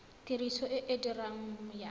tiriso e e diregang ya